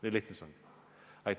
Nii lihtne see ongi.